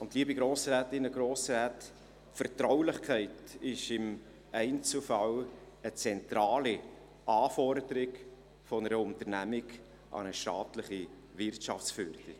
Und, liebe Grossrätinnen und Grossräte, Vertraulichkeit ist im Einzelfall eine zentrale Anforderung einer Unternehmung an eine staatliche Wirtschaftsförderung.